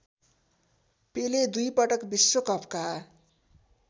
पेले दुईपटक विश्वकपका